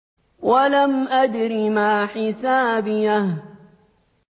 وَلَمْ أَدْرِ مَا حِسَابِيَهْ